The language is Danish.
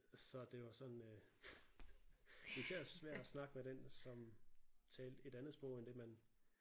Så det var sådan øh isært svært at snakke med den som talte et andet sprog end den man